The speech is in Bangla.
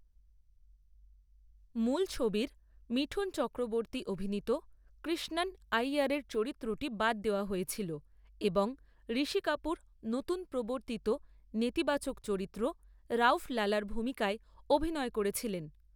মূল ছবির মিঠুন চক্রবর্তী অভিনীত কৃষ্ণন আইয়ারের চরিত্রটি বাদ দেওয়া হয়েছিল এবং ঋষি কাপুর নতুন প্রবর্তিত নেতিবাচক চরিত্র রউফ লালার ভূমিকায় অভিনয় করেছিলেন।